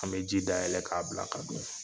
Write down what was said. An bɛ ji dayɛlɛ k'a bila ka don.